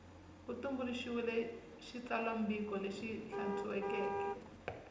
ku tumbuluxiwile xitsalwambiko lexi hlantswekeke